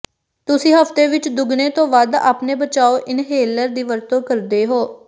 ਤੁਸੀਂ ਹਫ਼ਤੇ ਵਿੱਚ ਦੁੱਗਣੇ ਤੋਂ ਵੱਧ ਆਪਣੇ ਬਚਾਓ ਇਨਹੇਲਰ ਦੀ ਵਰਤੋਂ ਕਰਦੇ ਹੋ